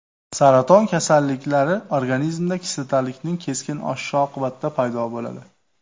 Saraton kasalliklari organizmda kislotalilikning keskin oshishi oqibatida paydo bo‘ladi.